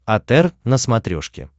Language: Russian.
отр на смотрешке